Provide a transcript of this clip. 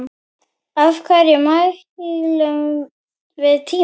Af hverju mælum við tímann?